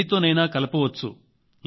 దేనితోనైనా కలపవచ్చు